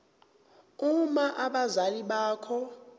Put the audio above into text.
uma abazali bakho